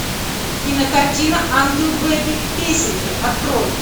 кинокартина ангел бэби песенки открой